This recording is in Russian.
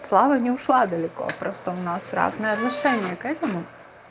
слава не ушла далеко просто у нас разное отношение к этому